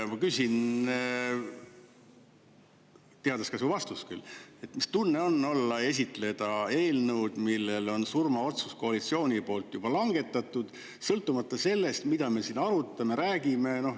Ma küsin, teades küll su vastust, mis tunne on esitleda eelnõu, mille kohta on surmaotsus koalitsiooni poolt juba langetatud, sõltumata sellest, mida me siin arutame, räägime.